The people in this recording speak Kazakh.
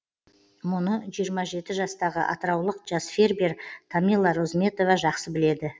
мұны жиырма жеті жастағы атыраулық жас фермер тамила розметова жақсы біледі